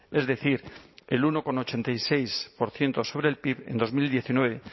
es decir el uno coma ochenta y seis por ciento sobre el pib en dos mil diecinueve